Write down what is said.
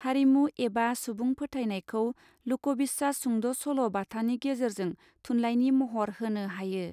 हारिमु एबा सुबुं फोथाइनइखौ लोकबिसास सल बाथानि गेजेरजों थुनलाइनि महर होनो हायो.